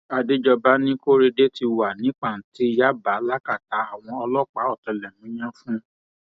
àdéjọba ní korede ti wà ní pàǹtí yaba lákàtà àwọn ọlọpàá ọtẹlẹmúyẹ fún